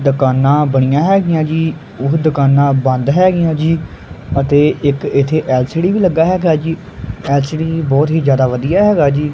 ਦੁਕਾਨਾਂ ਬਣੀਆ ਹੈਗਿਆਂ ਜੀ ਉਹ ਦੁਕਾਨਾਂ ਬੰਦ ਹੈਗਿਆਂ ਜੀ ਅਤੇ ਇੱਕ ਇੱਥੇ ਐਲ_ਸੀ_ਡੀ ਵੀ ਲੱਗਾ ਹੈਗਾ ਜੀ ਐਲ_ਸੀ_ਡੀ ਬਹੁਤ ਹੀ ਜਿਆਦਾ ਵਧੀਆ ਹੈਗਾ ਜੀ।